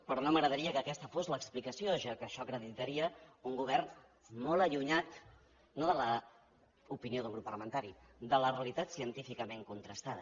però no m’agradaria que aquesta fos l’explicació ja que això acreditaria un govern molt allunyat no de l’opinió d’un grup parlamentari de la realitat científicament contrastada